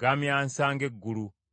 gamyansa ng’eggulu.